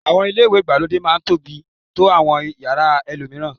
Àwọn ilé ìwẹ̀ ìgbàlódé máá ń tóbi tó àwọn yàrá ẹlòmíràn